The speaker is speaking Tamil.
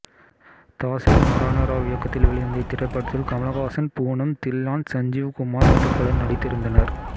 தாசரி நாராயண ராவ் இயக்கத்தில் வெளிவந்த இத்திரைப்படத்தில் கமல்ஹாசன் பூனம் தில்லான் சஞ்சீவ் குமார் மற்றும் பலர் நடித்திருந்தனர்